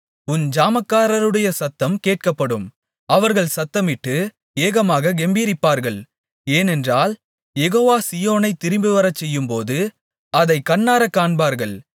உன் ஜாமக்காரருடைய சத்தம் கேட்கப்படும் அவர்கள் சத்தமிட்டு ஏகமாகக் கெம்பீரிப்பார்கள் ஏனென்றால் யெகோவா சீயோனைத் திரும்பிவரச்செய்யும்போது அதைக் கண்ணாரக் காண்பார்கள்